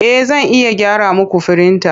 E, Zan iya gyara muku firintan.